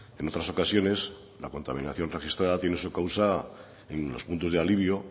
en otras ocasiones la contaminación registrada tiene su causa en los puntos de alivio